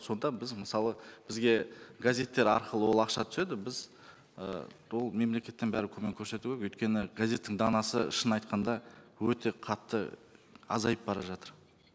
сонда біз мысалы бізге газеттер арқылы ол ақша түседі біз ы ол мемлекеттен бәрібір көмек көрсету керек өйткені газеттің данасы шын айтқанда өте қатты азайып бара жатыр